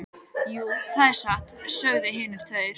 Jú, það er satt, sögðu hinar tvær.